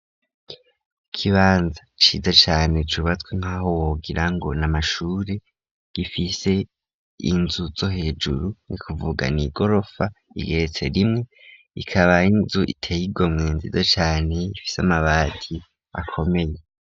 Ikibanza ciza cane cubatswe nk'aho wogirango n'amashure gifise inzu zo hejuru n'ukuvuga n'igorofa igeretse rimwe ikaba ari inzu iteye igomwe nziza cane ifise amabati akomeye.